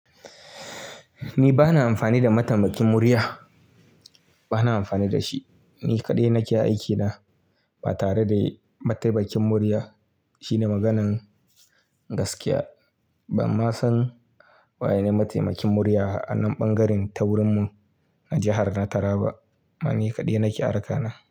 Ni bana amfani da mataimakin murya, bana amfani da shi. Ni kaɗai nake aikina ba tare da mataimakin murya. Shi ne maganan gaskiya. Ban ma san wane ne mataimakin murya a nan ɓangaren ta wurin mu na jahar na Taraba. Ni kaɗai nake harkana.